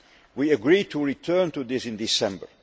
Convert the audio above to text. We agreed to return to this in December.